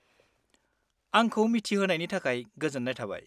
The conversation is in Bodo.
आंखौ मिथिहोनायनि थाखाय गोजोन्नाय थाबाय।